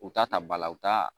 U ta ta bala u ta